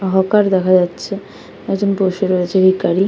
Hawker দেখা যাচ্ছ একে জন বসে রয়েছে ভিখারি।